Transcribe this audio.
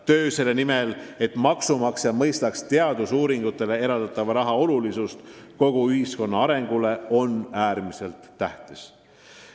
Töö selle nimel, et maksumaksja mõistaks teadusuuringutele eraldatava raha olulisust kogu ühiskonna arengus, on äärmiselt tähtis.